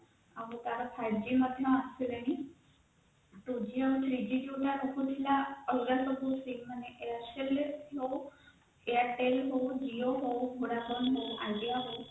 ଏବୋମ ତାର five g ମଧ୍ୟ ଆସିଲାଣି two g ଆଉ three g ସିମ ଆସିନଥିଲା ଅଲଗା ସବୁ ସିମ ମାନେ airtel ଆସିଲାଣି airtel ହଉ Jio ହଉ vodafone ହଉ idea hau